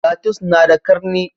Tatus na da ƙarni